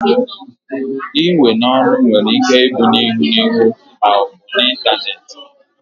Iwe n'oru were Ike ibu n'ihu n'ihu ma obu n'Ịntanet